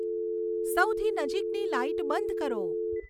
સૌથી નજીકની લાઈટ બંધ કરો